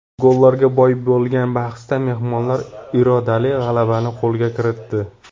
Gollarga boy bo‘lgan bahsda mehmonlar irodali g‘alabani qo‘lga kiritdi.